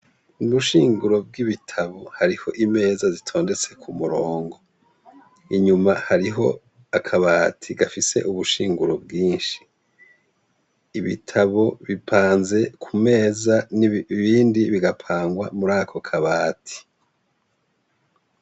Mubushinguro bw'ibitabo hariho imeza zitondetse ku murongo inyuma hariho akabati gafise ubushinguro bwinshi ibitabo bipanze ku meza n'ibindi bigapangwa muri ako kabati.